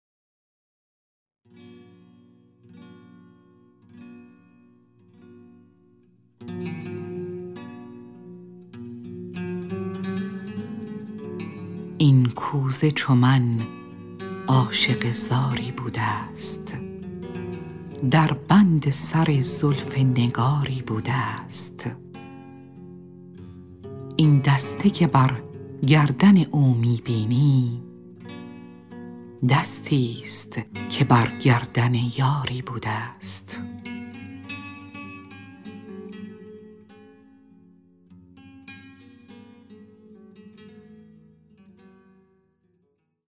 این کوزه چو من عاشق زاری بوده ست در بند سر زلف نگاری بوده ست این دسته که بر گردن او می بینی دستی ست که بر گردن یاری بوده ست